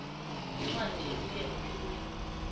incwadi ebuya ephikweni